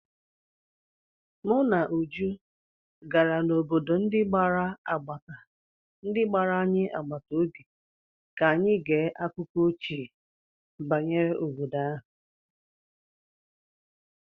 Mụ na Uju gara n'obodo ndi anyị gbara agbata obi ka anyị gee akụkọ ochie banyere obodo ahụ.